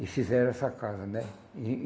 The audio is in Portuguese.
E fizeram essa casa, né? E